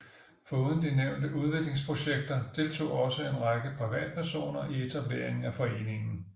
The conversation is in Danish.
Foruden de nævnte udviklingsprojekter deltog også en række privatpersoner i etableringen af foreningen